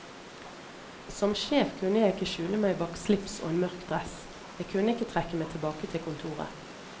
Som sjef kunne jeg ikke skjule meg bak slips og en mørk dress, jeg kunne ikke trekke meg tilbake til kontoret.